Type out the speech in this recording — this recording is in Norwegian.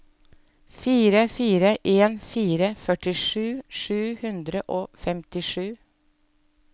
fire fire en fire førtisju sju hundre og femtisju